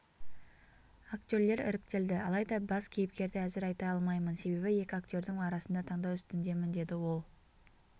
актерлер іріктелді алайда бас кейіпкерді әзір айта алмаймын себебі екі актердің арасында таңдау үстіндемін деді ол